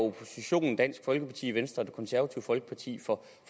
oppositionen dansk folkeparti venstre og det konservative folkeparti for